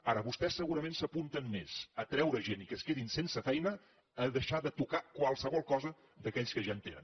ara vostès segurament s’apunten més a treure gent i que es quedin sense feina a deixar de tocar qualsevol cosa d’aquells que ja en tenen